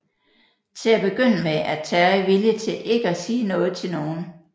Til at begynde med er Terry villig til ikke at sige noget til nogen